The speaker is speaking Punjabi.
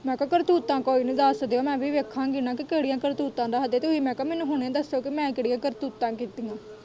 ਮੈਂ ਕਿਹਾ ਕਰਤੂਤਾਂ ਕੋਈ ਨੀ ਦੱਸ ਦਿਓ ਮੈਂ ਵੀ ਵੇਖਾਗੀ ਨਾ ਕਿ ਕਿਹੜੀਆਂ ਕਰਤੂਤਾਂ ਦੱਸਦੇ ਤੂੰ ਹੀ ਮੈਂ ਕਿਹਾ ਮੈਨੂੰ ਹੁਣੇ ਦੱਸੋ ਕਿ ਮੈਂ ਕਿਹੜੀਆਂ ਕਰਤੂਤਾਂ ਕੀਤੀਆਂ।